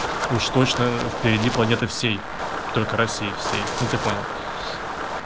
уж точно впереди планеты всей только россии все ну ты понял